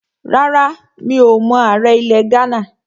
Rárá, mi ò mọ ààrẹ ilẹ̀ Ghánà